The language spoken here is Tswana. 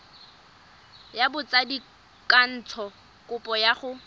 ya botsadikatsho kopo ya go